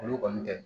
Olu kɔni tɛ